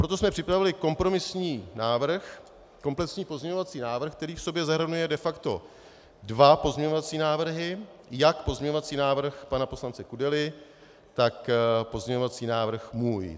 Proto jsme připravili kompromisní návrh, komplexní pozměňovací návrh, který v sobě zahrnuje de facto dva pozměňovací návrhy, jak pozměňovací návrh pana poslance Kudely, tak pozměňovací návrh můj.